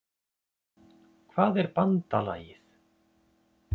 Hvað er BANDALAGIÐ?